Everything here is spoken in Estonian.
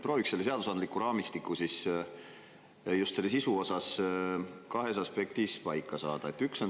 Prooviks selle seadusandliku raamistiku just sisu osas kahes aspektis paika saada.